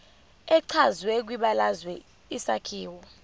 echazwe kwibalazwe isakhiwo